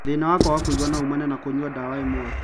Thĩna wa kwaga kũigua no umane na kũnyua ndawa imwe